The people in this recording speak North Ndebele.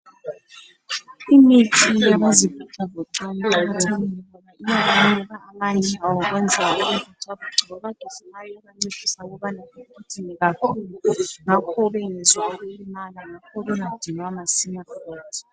Imithi yabayelula imizimba iyabanika amandla. Abagijimayo iyabancedisa ukuthi bangadinwa kakhulu njalo bangezwa ubuhlungu njalo bengadinwa masinyane.